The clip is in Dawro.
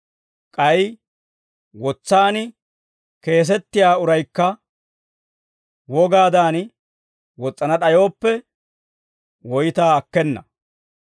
K'ay wotsaan keesetiyaa uraykka wogaadan wos's'ana d'ayooppe, woytaa akkena.